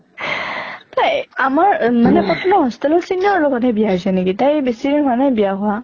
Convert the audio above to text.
তাই আমাৰ মানে কটনৰ hostel ৰ senior ৰৰ লগত হে বিয়া হৈছে নেকি? তাইৰ বেছি দিন হোৱা নাই বয়া হোৱা।